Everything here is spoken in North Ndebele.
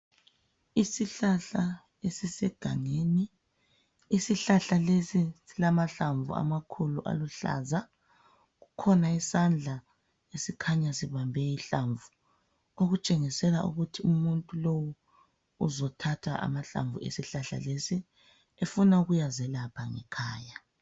Isihlahla esisegangeni isihlahla lesi silamahlamvu amakhulu aluhlaza kukhona isandla esikhanya sibambe ihlamvu okutshengisela ukuthi umuntu lowu uzothatha amahlamvu esihlahla lesi ufuna ukuyazekapha ngekhaya